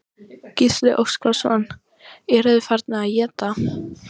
Gísli Óskarsson: Eru þeir farnir að éta?